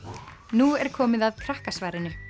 nú er komið að Krakkasvarinu